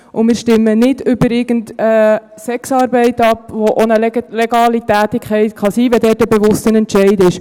Wir stimmen nicht über Sexarbeit ab, was auch eine legale Tätigkeit sein kann, wenn es dort ein bewusster Entscheid ist.